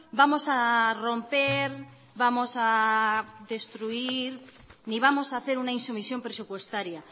vamos a romper vamos a destruir ni vamos a hacer una insumisión presupuestaria